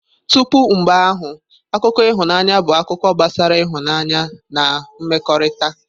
Tupu mgbe ahụ, akụkọ ịhụnanya bụ akụkọ gbasara ịhụnanya na mmekọrịta.